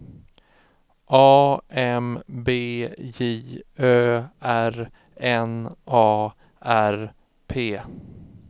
A M B J Ö R N A R P